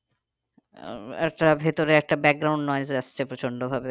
আহ একটা ভেতরে একটা আসছে প্রচন্ড ভাবে।